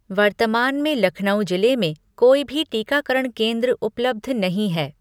वर्तमान में लखनऊ जिले में कोई भी टीकाकरण केंद्र उपलब्ध नहीं हैं।